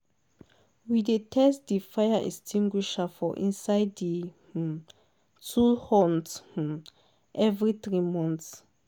we dey test di fire extinguisher for inside di um tool hut um every three months.